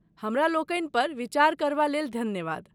हमरा लोकनि पर विचार करबा लेल धन्यवाद।